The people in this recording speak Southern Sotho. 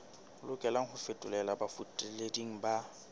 lokelang ho fetolelwa bafetoleding ba